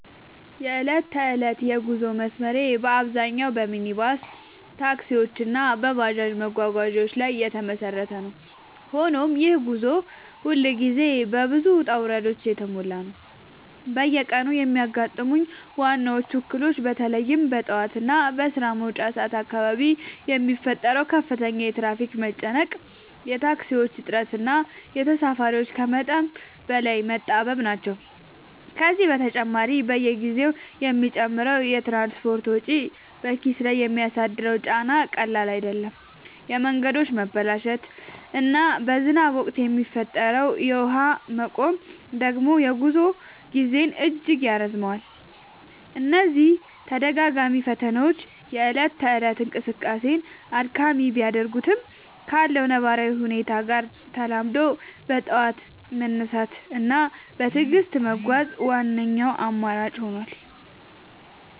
የዕለት ተዕለት የጉዞ መስመሬ በአብዛኛው በሚኒባስ ታክሲዎች እና በባጃጅ መጓጓዣዎች ላይ የተመሰረተ ነው፤ ሆኖም ይህ ጉዞ ሁልጊዜ በብዙ ውጣ ውረዶች የተሞላ ነው። በየቀኑ የሚያጋጥሙኝ ዋነኞቹ እክሎች በተለይም በጠዋት እና በስራ መውጫ ሰዓት አካባቢ የሚፈጠረው ከፍተኛ የትራፊክ መጨናነቅ፣ የታክሲዎች እጥረት እና ተሳፋሪዎች ከመጠን በላይ መጣበብ ናቸው። ከዚህ በተጨማሪ፣ በየጊዜው የሚጨምረው የትራንስፖርት ወጪ በኪስ ላይ የሚያደርሰው ጫና ቀላል አይደለም፤ የመንገዶች መበላሸት እና በዝናብ ወቅት የሚፈጠረው የውሃ መቆም ደግሞ የጉዞ ጊዜን እጅግ ያራዝመዋል። እነዚህ ተደጋጋሚ ፈተናዎች የእለት ተእለት እንቅስቃሴን አድካሚ ቢያደርጉትም፣ ካለው ነባራዊ ሁኔታ ጋር ተላምዶ በጠዋት መነሳት እና በትዕግስት መጓዝ ዋነኛው አማራጭ ሆኗል።